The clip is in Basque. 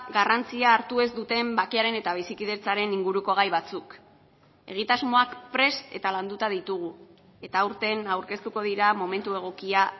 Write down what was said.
garrantzia hartu ez duten bakearen eta bizikidetzaren inguruko gai batzuk egitasmoak prest eta landuta ditugu eta aurten aurkeztuko dira momentu egokia